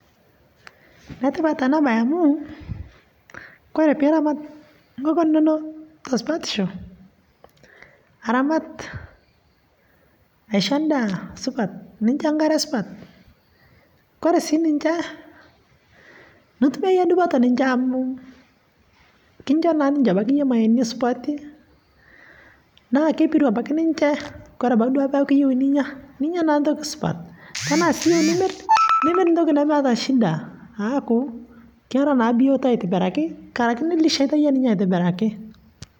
netipat ena bai amuu kore piiramat nkokon inoo tosupatishoo aramat aishoo ndaa supat ninshoo nkaree supat kore sii ninshee nitumie yie dupoo amu kinchoo naabaki yie ninshe mayeeni supatii naa kepiruu abaki duake ninshee kore abakii duake tanaa iyeu ninyaa, ninyaa naaa ntoki supat tanaa sii iyeu nimir nimir naa ntoki mnemeata shidaa aaku kera naa biotoo aitibirakii nkarake nilisheitaa yie ninyee aitibirakii